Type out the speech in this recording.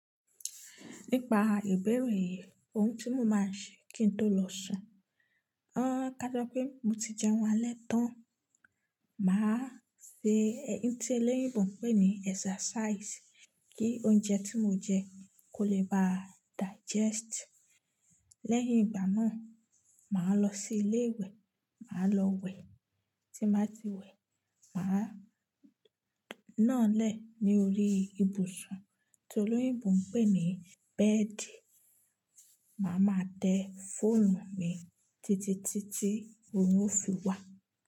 Nípa ìbéèrè yìí, ohun tí mo máa ṣe kí n tó lọ sùn, o ká jọ pé mo ti jẹun alẹ́ tán. Màá ṣe ẹyin tí olóyìnbo ń pè ní exercise kí oúnjẹ tí mo jẹ kó lè ba digest. Lẹ́yìn ìgbà náà, màá lọ sí ilé ìwẹ̀, màá lọ wẹ̀. Tí màá ti wẹ̀, màá náà lẹ̀ ní orí ibùsùn tó lóyìnbó ń pè ní bẹ́ẹ̀dì. Màá ma tẹ fóònù mi títitítí orún ó fi wà.